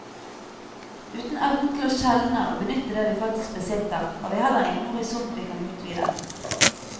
Uten evnen til å skjelne og benytte det vi faktisk besitter, har vi heller ingen horisont vi kan utvide.